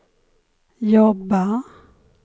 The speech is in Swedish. jobba